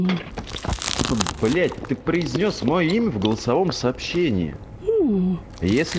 типа блять ты произнёс моё имя в голосовом сообщении если